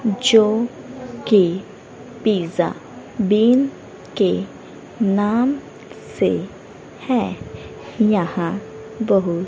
जो कि pizza bin के नाम से है यहां बहुत--